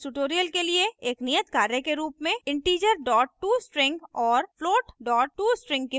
इस tutorial के लिए एक नियत कार्य के रूप में integer tostring और float tostring के बारे में पढ़ें